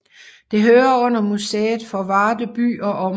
Det hører under Museet for Varde By og Omegn